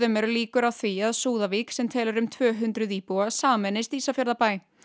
eru líkur á því að Súðavík sem telur um tvö hundruð íbúa sameinist Ísafjarðarbæ